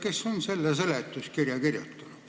Kes on selle seletuskirja kirjutanud?